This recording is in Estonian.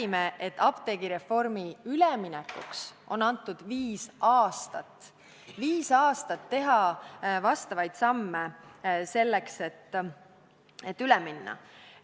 Sama oli apteegireformiga seotud üleminekuks antud viis aastat: viis aastat oli aega teha samme selleks, et üle minna.